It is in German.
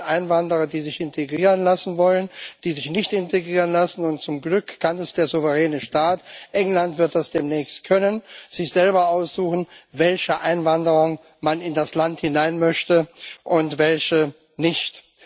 Es gibt Einwanderer, die sich integrieren lassen wollen, die sich nicht integrieren lassen, und zum Glück kann der souveräne Staat England wird das demnächst können sich selber aussuchen, welche Einwanderung in das Land man möchte und welche nicht.